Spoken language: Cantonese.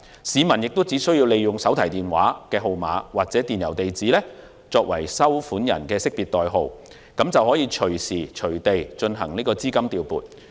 市民只需利用手提電話號碼或電郵地址作為收款人的識別代號，隨時隨地調撥資金。